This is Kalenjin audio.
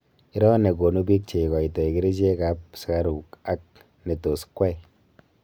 iroo negonuu pik cheigoitoi kerichek ap sugaruk ak netus kwai